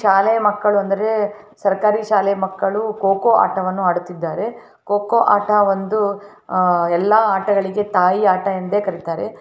ಶಾಲೆ ಮಕ್ಕಳು ಅಂದ್ರೆ ಸರಕಾರಿ ಶಾಲೆ ಮಕ್ಕಳು ಕೊಕ್ಕೋ ಆಟವನ್ನು ಆಡುತ್ತಿರುವುದನ್ನು ಕೊಕ್ಕೋ ಆಟ ಒಂದು ಆ ಎಲ್ಲಾ ಆಟಗಳಿಗೆ ತಾಯಿ ಆಟ ಎಂದೇ ಕರೆಯುತ್ತಾರೆ.